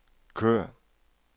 kør